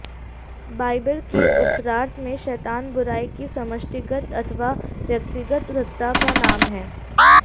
Bible के उत्तरार्ध में शैतान बुराई की समष्टिगत अथवा व्यक्तिगत सत्ता का नाम है